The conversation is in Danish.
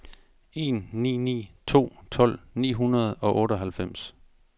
en ni ni to tolv ni hundrede og otteoghalvfems